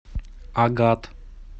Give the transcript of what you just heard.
агат